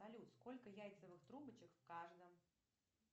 салют сколько яйцевых трубочек в каждом